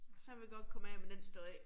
Så vi godt komme af med den stå af